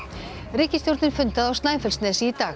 ríkisstjórnin fundaði á Snæfellsnesi í dag